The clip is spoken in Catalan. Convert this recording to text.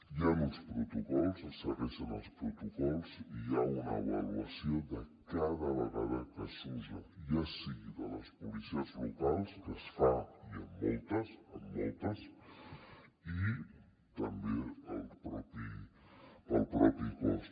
hi han uns protocols es segueixen els protocols i hi ha una avaluació de cada vegada que s’usa ja sigui de les policies locals que es fa i en moltes en moltes i també del propi cos